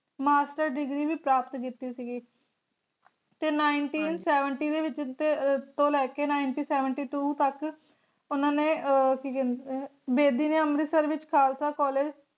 Master Degree ਵੀ ਪ੍ਰਾਪਤ ਕੀਤੀ ਸੀਗੀਤੇ nineteen seventy ਦੇ ਵਿਚ ਤੋਂ ਲੈ ਕੇ nineteen seventy two ਤਕ ਓਹਨਾ ਨੇ ਕਿ ਕਹਿੰਦੇ ਹੈ ਬੇਦੀ ਨੇ ਅਮ੍ਰਿਤਸਰ ਵਿਚ ਖਾਲਸਾ college